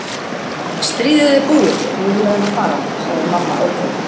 Stríðið er búið og þá eiga þeir að fara, sagði mamma ákveðin.